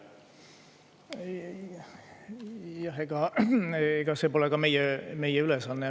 Ega see pole ka meie meie ülesanne.